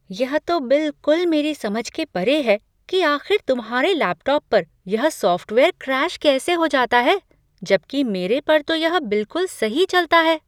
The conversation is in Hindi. यह तो बिलकुल मेरे समझ के परे है कि आख़िर तुम्हारे लैपटॉप पर यह सॉफ़्टवेयर क्रैश कैसे हो जाता है, जबकि मेरे पर तो यह बिलकुल सही चलता है।